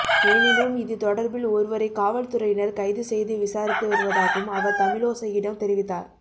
எனினும் இது தொடர்பில் ஒருவரை காவல்துறையினர் கைது செய்து விசாரித்து வருவதாகவும் அவர் தமிழோசையிடம் தெரிவித்தார்